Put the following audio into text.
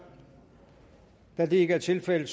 da det ikke er tilfældet